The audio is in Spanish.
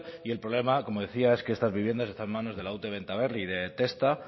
y el problema como decía es que estas viviendas están en manos de la ute bentaberri y de testa